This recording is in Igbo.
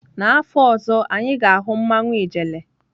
N'afọ ọzọ, anyị ga-ahụ mmanwụ ijele.